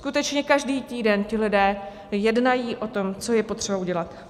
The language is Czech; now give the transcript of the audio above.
Skutečně každý týden ti lidé jednají o tom, co je potřeba udělat.